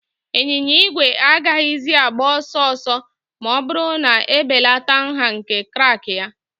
Ịnyịnya igwe agaghịzi agba ọsọ ọsọ ma ọ bụrụ na ebelata nha nke crank ya.